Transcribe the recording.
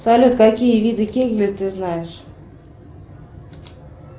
салют какие виды кегли ты знаешь